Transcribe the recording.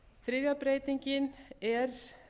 þriðja breytingin er